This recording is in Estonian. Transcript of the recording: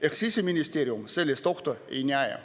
Ehk Siseministeerium sellist ohtu ei näe.